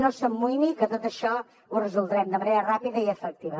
no s’amoïni que tot això ho resoldrem de manera ràpida i efectiva